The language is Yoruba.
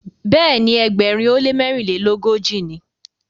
Béèni Egbèrin o le mérinlelogoji ní.